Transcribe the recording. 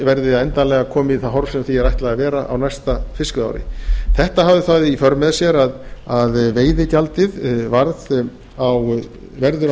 verði endanlega komið í það horf sem því er ætlað að vera á næsta fiskveiðiári þetta hafði það í för með sér að veiðigjaldið verður á þessu